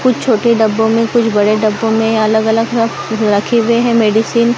कुछ छोटे डब्बो में कुछ बड़े डब्बो में अलग अलग रखे हुए हैं मेडिसिन --